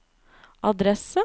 adresse